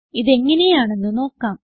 ഇതെങ്ങനെയാണെന്ന് നോക്കാം